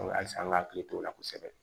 halisa an ka hakili t'o la kosɛbɛ